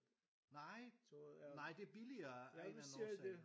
Nej nej det er billigere af en eller anden årsag